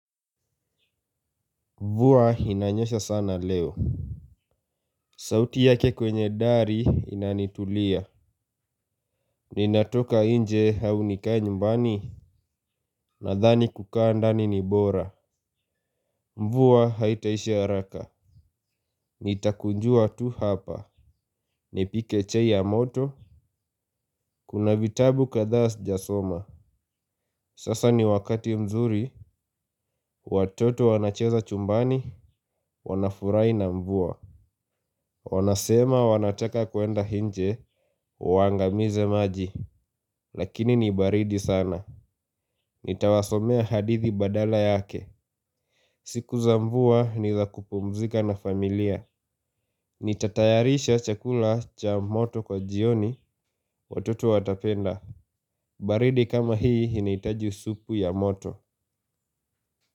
Mvua inanyesha sana leo. Sauti yake kwenye dari inanitulia. Ninatoka nje au nikae nyumbani. Nadhani kukaa ndani ni bora. Mvua haitaisha haraka. Nitakunjua tu hapa. Nipike chai ya moto. Kuna vitabu kadhaa sijasoma. Sasa ni wakati mzuri. Watoto wanacheza chumbani. Wanafurahi na mvua. Wanasema wanataka kuenda nje waangamize maji. Lakini ni baridi sana. Nitawasomea hadithi badala yake. Siku za mvua ni za kupumzika na familia. Nitatayarisha chakula cha moto kwa jioni. Watoto watapenda. Baridi kama hii inahitaji supu ya moto.